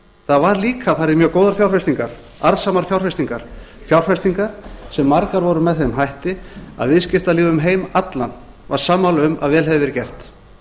það var líka farið í mjög góðar fjárfestingar arðsamar fjárfestingar fjárfestingar sem margar voru með þeim hætti að viðskiptalífið um heim allan var sammála um að vel hefði verið gert